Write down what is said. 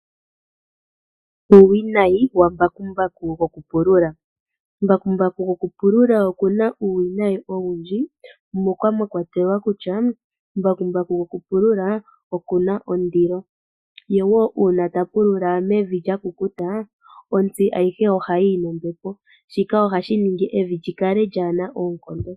Uuwinayi wambakumbaku goku pulula. Mbakumbaku goku pulula oku na uuwinayi owundji moka mwakwatelwa kutya, mbakumbaku gokupulula oku na ondilo, ye woo uuna ta pulula mevi lyakukuta, otsi ayihe oha yi yi nombepo. Shika ohashi ningi evi lyi kale lyaana oonkondo.